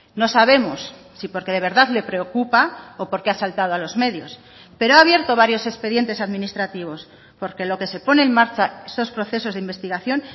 no sabemos si porque de verdad le preocupa o porque ha saltado a los medios pero ha abierto varios expedientes administrativos porque lo que se pone en marcha esos procesos de investigación